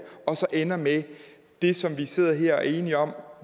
og så ender med det som vi sidder her og er enige om at